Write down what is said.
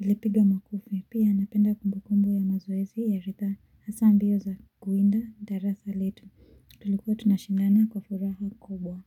alipiga makofi pia napenda kumbu kumbu ya mazoezi ya ridhaa hasa mbio za kuwinda darasa letu tulikuwa tunashindana kwa furaha kubwa.